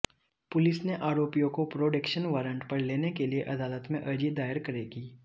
police ने आरोपियों को प्रोडेक्शन वारंट पर लेने के लिए अदालत में अर्जी दायर करेगी